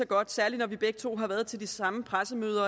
godt særligt når vi begge to har været til de samme pressemøder